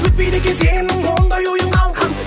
өтпейді екен сенің ондай ойың қалқам